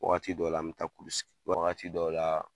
Wagati dɔw la,n bɛ taa kulu, wagati dɔw la